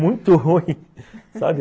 Muito ruim, sabe?